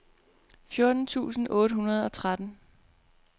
fjorten tusind otte hundrede og tretten